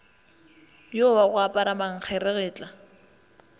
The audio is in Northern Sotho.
yo wa go apara mankgeretla